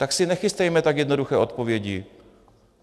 Tak si nechystejme tak jednoduché odpovědi.